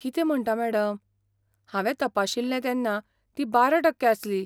कितें म्हणटा मॅडम? हांवें तपाशिल्लें तेन्ना ती बारा टक्के आसली.